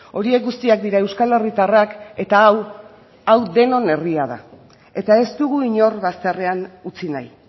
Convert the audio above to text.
horiek guztiak dira euskal herritarrak eta hau hau denon herria da eta ez dugu inor bazterrean utzi nahi